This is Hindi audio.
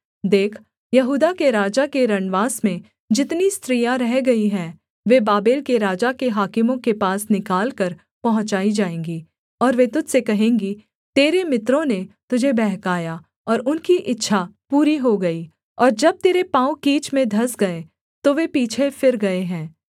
देख यहूदा के राजा के रनवास में जितनी स्त्रियाँ रह गई हैं वे बाबेल के राजा के हाकिमों के पास निकालकर पहुँचाई जाएँगी और वे तुझ से कहेंगी तेरे मित्रों ने तुझे बहकाया और उनकी इच्छा पूरी हो गई और जब तेरे पाँव कीच में धँस गए तो वे पीछे फिर गए हैं